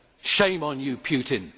Shame on you, Putin!